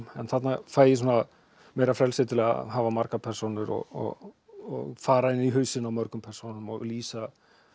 en þarna fæ ég meira frelsi til að hafa margar persónur og fara inn í hausinn á mörgum persónum og lýsa